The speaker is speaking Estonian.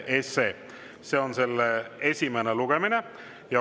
See on selle esimene lugemine.